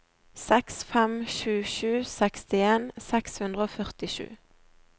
seks fem sju sju sekstien seks hundre og førtisju